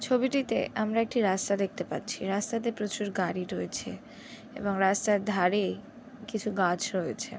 ছবিটিতে আমরা একটি রাস্তা দেখতে পাচ্ছি রাস্তাতে প্রচুর গাড়ি রয়েছে এবং রাস্তার ধারে কিছু গাছ রয়েছে।